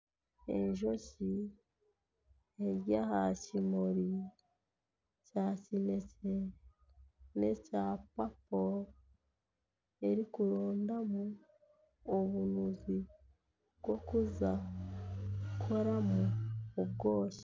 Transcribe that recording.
Enjoki eri aha kimuri kya kineekye n'ekya papo erikurondamu obunuzi bw'okuza kukoramu obwoki